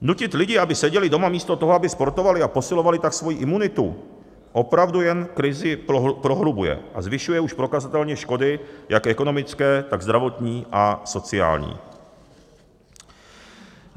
Nutit lidi, aby seděli doma místo toho, aby sportovali a posilovali tak svoji imunitu, opravdu jen krizi prohlubuje a zvyšuje už prokazatelně škody jak ekonomické, tak zdravotní a sociální.